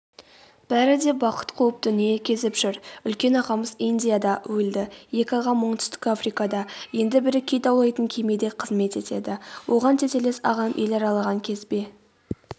бәрі де бақыт қуып дүние кезіп жүр үлкен ағамыз индияда өлді екі ағам оңтүстік африкада енді бірі кит аулайтын кемеде қызмет етеді оған тетелес ағам ел аралаған кезбе